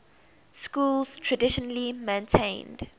schools traditionally maintained